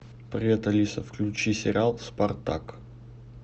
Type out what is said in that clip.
привет алиса включи сериал спартак